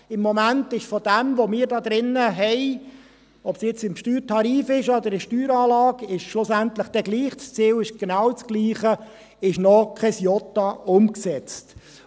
– Im Moment ist von dem, was wir hier drin haben – ob es jetzt im Steuertarif sei oder in der Steueranlage, ist schlussendlich egal, das Ziel ist genau dasselbe –, noch kein Jota umgesetzt.